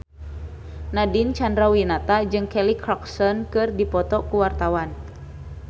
Nadine Chandrawinata jeung Kelly Clarkson keur dipoto ku wartawan